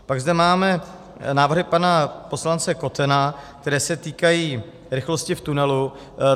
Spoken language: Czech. Pak zde máme návrhy pana poslance Kotena, které se týkají rychlosti v tunelu.